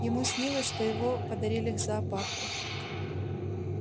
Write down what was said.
ему снилось что его подарили зоопарку